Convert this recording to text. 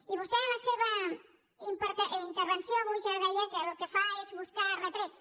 i vostè en la seva intervenció avui ja deia que el que fa és buscar retrets